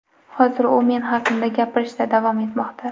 Hozir u men haqimda gapirishda davom etmoqda.